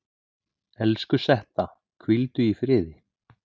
Elsku Setta, hvíldu í friði.